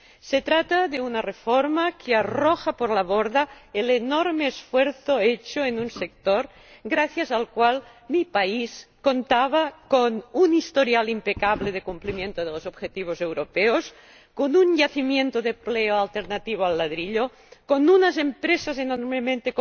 Se trata de una reforma que arroja por la borda el enorme esfuerzo hecho en un sector en el que mi país contaba con un historial impecable de cumplimiento de los objetivos europeos, con un yacimiento de empleo alternativo al ladrillo, con unas empresas enormemente